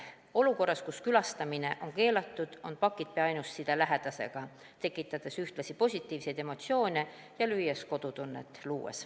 Olukorras, kus külastamine on keelatud, on pakid pea ainus side lähedasega, ühtlasi tekitavad need positiivseid emotsioone ja loovad kodutunnet.